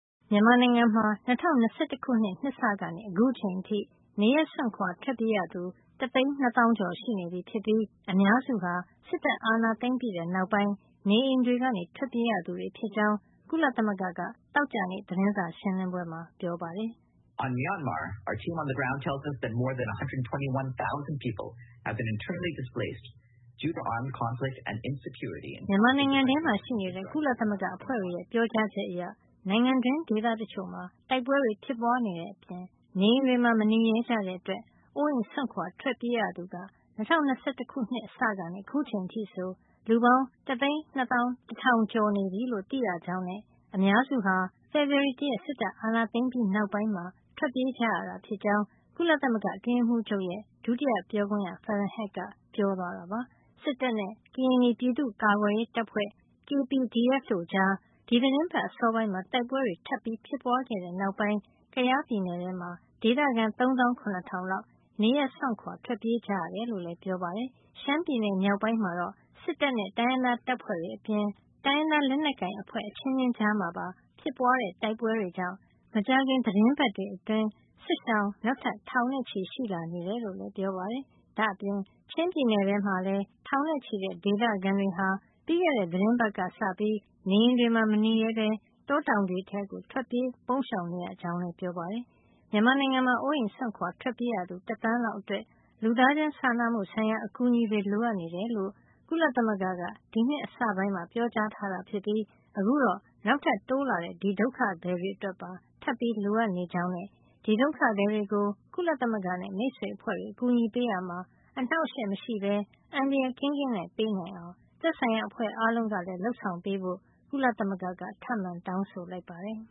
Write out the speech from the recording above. မြန်မာနိုင်ငံမှာ ၂၀၂၁ ခုနှစ် နှစ်စကနေ အခုချိန်အထိ နေရပ်စွန့်ခွာ ထွက်ပြေးရသူ ၁၂၀,၀၀၀ ( တသိန်း နှစ်သောင်း) ကျော်ရှိနေပြီဖြစ်ပြီး အများစုဟာ စစ်တပ်အာဏာသိမ်းပြီးနောက်ပိုင်း နေအိမ်တွေကနေ ထွက်ပြေးရသူတွေ ဖြစ်ကြောင်း ကုလသမဂ္ဂက သောကြာနေ့ သတင်းစာရှင်းလင်းပွဲမှာ ပြောပါတယ်။ "မြန်မာနိုင်ငံထဲမှာရှိနေတဲ့ ကုလသမဂ္ဂအဖွဲ့တွေရဲ့ ပြောကြားချက်အရ နိုင်ငံတွင်းဒေသတချို့မှာ တိုက်ပွဲတွေဖြစ်ပွါးနေတဲ့အပြင် နေအိမ်တွေမှာမနေရဲကြတဲ့ အတွက် အိုးအိမ်စွန့်ခွါ ထွက်ပြေးရသူဟာ ၂၀၂၁ ခုနှစ်အစကနေ ခုချိန်အထိဆို လူပေါင်း ၁၂၁,၀၀၀ ကျော်နေပြီလို့ သိရကြောင်းနဲ့ အများစုဟာ ဖေဖေါ်ဝါရီလ ၁ ရက် စစ်တပ်အာဏာသိမ်းပြီး နောက်ပိုင်းမှာ ထွက်ပြေးကြရတာ ဖြစ်ကြောင်း ကုလသမဂ္ဂအတွင်းရေးမှုးချုပ်ရဲ့ ဒုတိယပြောခွင့်ရ Farhan Haq က ပြောသွားတာပါ။ စစ်တပ်နဲ့ ကရင်နီပြည်သူ့ကာကွယ်ရေးတပ်ဖွဲ့ KPDF တို့ကြား ဒီသီတင်းပတ် အစောပိုင်းမှာ တိုက်ပွဲတွေထပ် ဖြစ်ပွါးခဲ့တဲ့နောက်ပိုင်း ကယားပြည်နယ်ထဲမှာ ဒေသခံ ၃၇,၀၀၀ လောက် နေရပ်စွန့်ခွါ ထွက်ပြေးကြရတယ် လို့လည်း ပြောပါတယ်။ ရှမ်းပြည်နယ်မြောက်ပိုင်းမှာတော့ စစ်တပ်နဲ့ တိုင်းရင်းသားတပ်ဖွဲ့တွေ အပြင် တိုင်းရင်းသားလက်နက်ကိုင်အဖွဲ့ အချင်းချင်းကြားမှာပါ ဖြစ်ပွါးတဲ့ တိုက်ပွဲတွေကြောင့် မကြာခင် သီတင်းပတ်တွေ အတွင်း စစ်ရှောင် နောက်ထပ် ထောင်ချီရှိလာနေတယ်လို့လည်း ပြောပါတယ်။ ဒါ့အပြင် ချင်းပြည်နယ်မှာလည်း ထောင်နဲ့ချီတဲ့ ဒေသခံတွေဟာ ပြီးခဲ့တဲ့ သီတင်းပတ် ကစပြီး နေအိမ်တွေမှာ မနေရဲပဲ တောတောင်တွေထဲ ထွက်ပြေးပုန်းရှောင်နေရကြောင်း ပြောပါတယ်။ မြန်မာနိုင်ငံမှာ အိုးအိမ်စွန့်ခွါထွက်ပြေးရသူ တသန်းလောက် အတွက် လူသားချင်းစာနာမှုဆိုင်ရာ အကူအညီတွေလိုအပ်နေတယ်လို့ ကုလသမဂ္ဂက ဒီနှစ်အစပိုင်းမှာ ပြောကြားထားတာ ဖြစ်ပြီး အခုတော့ နောက်ထပ် တိုးလာတဲ့ ဒီဒုက္ခသည်တွေ အတွက်ပါ ထပ်ပြီး လိုအပ်နေကြောင်းနဲ့ ဒီဒုက္ခသည်တွေကို ကုလသမဂ္ဂနဲ့ မိတ်ဆွေအဖွဲ့တွေ အကူညီပေးရာမှာ အနှောက်ယှက်မရှိပဲ အန္တရာယ် ကင်းကင်းနဲ့ ပေးနိုင်အောင် သက်ဆိုင်ရာ အဖွဲ့အားလုံးက လုပ်ပေးဖို့လည်း ကုလသမဂ္ဂက ထပ်မံတောင်းဆိုလိုက်ပါတယ်